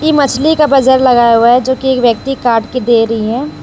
ये मछली का बाजार लगा हुआ है जोकि एक व्यक्ति काट की दे रही है।